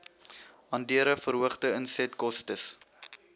andere verhoogde insetkostes